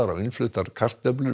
á innfluttum kartöflum